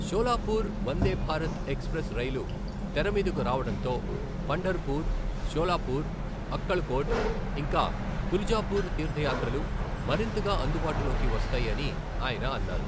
Solapur Vande Bharat express రైలు తెర మీదకు రావడంతో పంఢర్ పుర్, షోలాపుర్, అక్కల్ కోట్, ఇంకా తులజాపుర్ తీర్థయాత్రలు మరింతగా అందుబాటులోకి వస్తాయి అని ఆయన అన్నారు.